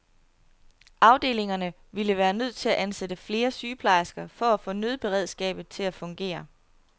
Afdelingerne ville være nødt til at ansætte flere sygeplejersker for at få nødberedskabet til at fungere.